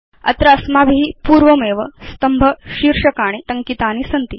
अत्र अस्माभि पूर्वमेव स्तम्भशीर्षकाणि टङ्कितानि सन्ति